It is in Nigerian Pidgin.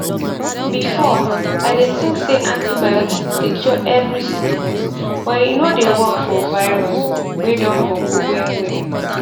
before i dey think say antibiotics dey cure every sickness but e no dey work for virus way don boku well well